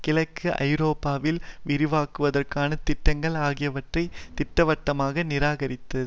கிழக்கு ஐரோப்பாவில் விரிவாக்குவதற்கான திட்டங்கள் ஆகியவற்றை திட்டவட்டமாக நிராகரித்து